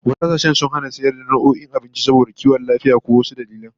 Wasu kasashen sun hana sayar da wasu nau'o'in abinci saboda kiwon lafiya ko wasu dalilan